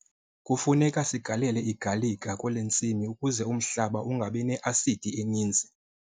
Kufuneka sigalele igalika kule ntsimi ukuze umhlaba ungabi ne-asidi eninzi.